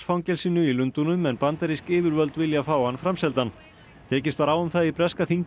fangelsinu í Lundúnum en bandarísk yfirvöld vilja fá hann framseldan tekist var á um það í breska þinginu